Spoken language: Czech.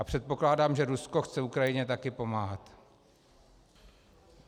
A předpokládám, že Rusko chce Ukrajině také pomáhat.